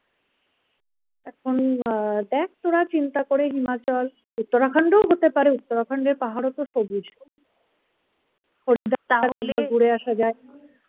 এখন দেখ তোরা চিন্তা করে হিমাচল Uttarakhand এও হতে পারে Uttarakhand এর পাহাড়ও তো সবুজ হরিদ্বার একবার ঘুরে আসা যায়